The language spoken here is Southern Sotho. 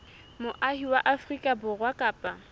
moahi wa afrika borwa kapa